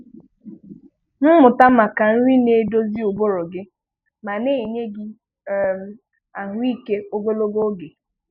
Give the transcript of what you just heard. Mụta maka nri na-edozi ụbụrụ gị ma na-enye gị um ahụ́ike ogologo oge.